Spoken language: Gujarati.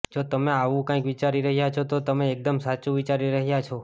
જો તમે આવું કંઈક વિચારી રહ્યા છો તો તમે એકદમ સાચું વિચારી રહ્યા છો